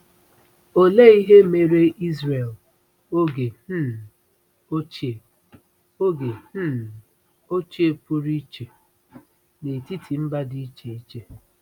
Olee ihe mere Izrel oge um ochie oge um ochie pụrụ iche n’etiti mba dị iche iche?